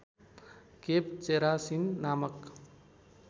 cave चेरासिन नामक